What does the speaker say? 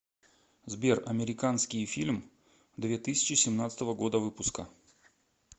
сбер американские фильм две тысячи семнадцатого года выпуска